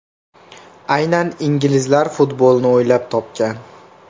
Aynan inglizlar futbolni o‘ylab topgan.